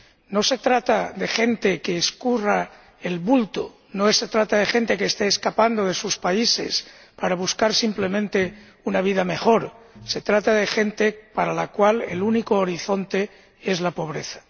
No se trata de gente que escurra el bulto, no se trata de gente que esté escapando de sus países para buscar simplemente una vida mejor se trata de gente para la cual el único horizonte es la pobreza.